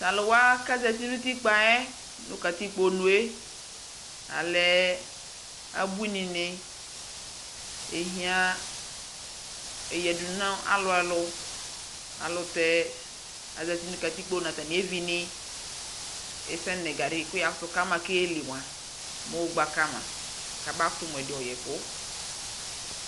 Taluwa kazati nutikpaɛ nukatikponuee lɛɛ abuiini ni ehiaaŋ eyadu nalualu ayɛlutɛɛ azati nu katikpo natanevinii ɛsɛɛ nɛgadi kuu yakutu kamaa keeyeli mua moogba kama kamayɔ kamakutumuɛdi ɔɔyɛku